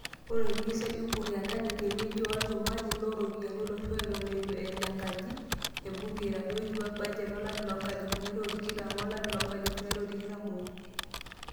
Olministai Ukur Yatani te wejii olchumati looropiyani olosho eton eitu ele enkaji e bunge eitoduaya bajet olari loonkalifuni are o tikitam o lari loonkalifuni are o tikitam obo.